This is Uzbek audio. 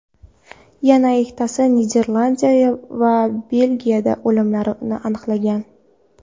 Yana ikkitasi Niderlandiya va Belgiya olimlari aniqlagan .